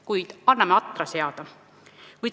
Kuid anname aega atra seada.